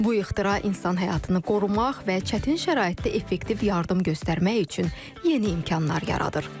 Bu ixtira insan həyatını qorumaq və çətin şəraitdə effektiv yardım göstərmək üçün yeni imkanlar yaradır.